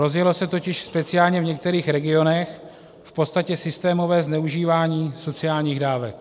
Rozjelo se totiž speciálně v některých regionech v podstatě systémové zneužívání sociálních dávek.